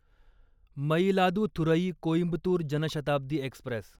Mayiladuthurai Coimbatore Janshatabdi Express